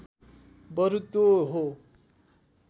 बरु त्यो हो